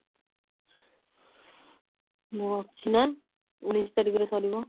ହଁ ଅଛି ନା ଉଣେଇଶ ତାରିଖ ରେ ସରିବ